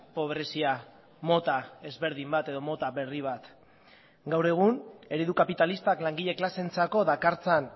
pobrezia mota ezberdin bat edo mota berri bat gaur egun eredu kapitalistak langile klaseentzako dakartzan